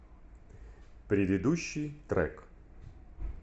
предыдущий трек